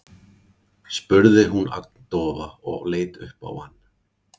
spurði hún agndofa og leit upp á hann.